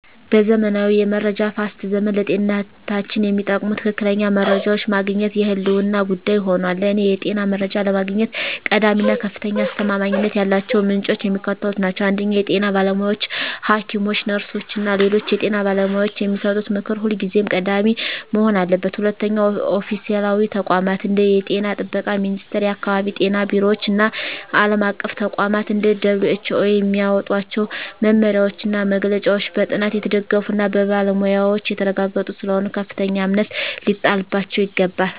በዘመናዊው የመረጃ ፍሰት ዘመን፣ ለጤንነታችን የሚጠቅሙ ትክክለኛ መረጃዎችን ማግኘት የህልውና ጉዳይ ሆኗል። ለእኔ የጤና መረጃ ለማግኘት ቀዳሚ እና ከፍተኛ አስተማማኝነት ያላቸው ምንጮች የሚከተሉት ናቸው 1) የጤና ባለሙያዎች: ሐኪሞች፣ ነርሶች እና ሌሎች የጤና ባለሙያዎች የሚሰጡት ምክር ሁልጊዜም ቀዳሚ መሆን አለበት። 2)ኦፊሴላዊ ተቋማት: እንደ የጤና ጥበቃ ሚኒስቴር፣ የአካባቢ ጤና ቢሮዎች እና ዓለም አቀፍ ተቋማት (እንደ WHO) የሚያወጧቸው መመሪያዎችና መግለጫዎች በጥናት የተደገፉና በባለሙያዎች የተረጋገጡ ስለሆኑ ከፍተኛ እምነት ሊጣልባቸው ይገባል።